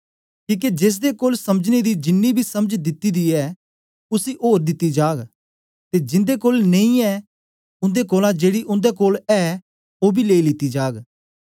किके जेसदे कोल समझने दी जिनी बी समझ दिती दी ऐ उसी ओर दिती जाग ते जिन्दे कोल नेई ऐ उन्दे कोलां जेड़ी उन्दे कोल ऐ ओ बी लेई लीती जाग